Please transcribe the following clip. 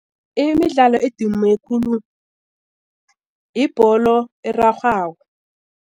Imidlalo edume khulu yibholo erarhwako.